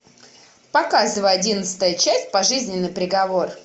показывай одиннадцатая часть пожизненный приговор